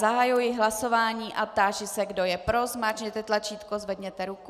Zahajuji hlasování a táži se, kdo je pro, zmáčkněte tlačítko, zvedněte ruku.